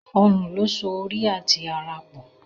Ọrùn lo so orí àti àrà pọ